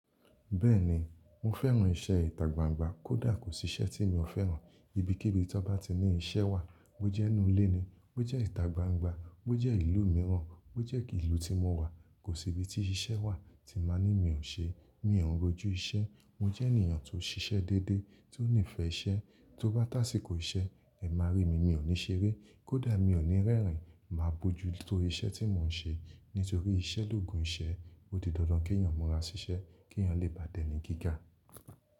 Bẹ́ẹ̀ni, mo fẹ́ran iṣẹ́ ìtagbangba kó dà kò síṣẹ́ tí mi ò fẹ́ran. Ibikibi tó bá ti ní iṣẹ́ wà, bó jẹ́ inú ilé ni, bó jẹ́ ìtagbangba, bó jẹ́ ìlú mìíràn, bó jẹ́ ìlú tí mo wà, kò sí ibi tí iṣẹ́ wà tí máa ní mi ò ṣe. Mi ò ń rojú iṣẹ́. Mo jẹ́ ènìyàn tó ń ṣiṣẹ́ dédé, tí ó nífẹ̀ẹ́ iṣẹ́. Tó bá tàsíkò iṣẹ́, ẹ má rí mi, mi ò ní ṣeré. Kódà mi ò ní rẹ́rìn, màá bojú tórí iṣẹ́ tí mò ń ṣe. Nítorí iṣẹ́ l'òògùn iṣẹ́. Ó di dandan k'eeyàn mọra ṣiṣẹ́ k'eeyàn lè bá dẹ́ni gíga.